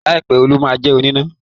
láì pẹ Òòlù má jé oníná